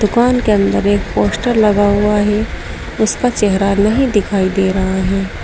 दुकान के अंदर एक पोस्टर लगा हुआ है उसका चेहरा नहीं दिखाई दे रहा है।